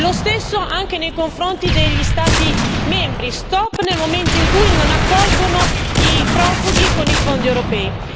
Lo stesso vale anche nei confronti degli Stati membri stop nel momento in cui non accolgono i profughi con i fondi europei.